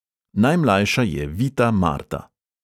Najmlajša je vita marta.